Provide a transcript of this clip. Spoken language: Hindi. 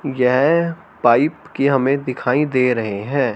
येह पाइप की हमें दिखाई दे रहे हैं।